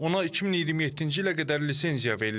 Ona 2027-ci ilə qədər lisenziya verilib.